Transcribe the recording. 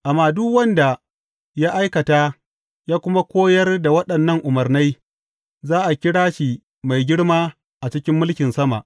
Amma duk wanda ya aikata, ya kuma koyar da waɗannan umarnai, za a kira shi mai girma a cikin mulkin sama.